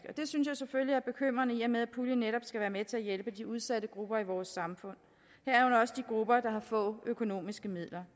det synes jeg selvfølgelig er bekymrende i og med at puljen netop skal være med til at hjælpe de udsatte grupper i vores samfund herunder også de grupper der har få økonomiske midler